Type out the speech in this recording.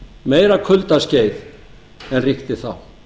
meira kuldaskeið en ríkti þá það